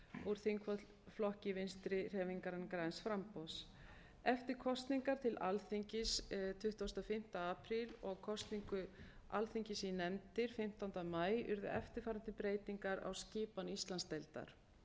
úr þingflokki vinstri hreyfingarinnar græns framboðs eftir kosningar til alþingis tuttugasta og fimmta apríl og kosningu alþingis í nefndir fimmtánda maí urðu eftirfarandi breytingar á skipan íslandsdeildar